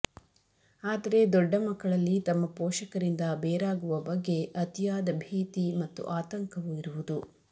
ಆದರೆ ದೊಡ್ಡ ಮಕ್ಕಳಲ್ಲಿ ತಮ್ಮ ಪೋಷಕರಿಂದ ಬೇರಾಗುವ ಬಗ್ಗೆ ಅತಿಯಾದ ಭೀತಿ ಮತ್ತು ಆತಂಕವು ಇರುವುದು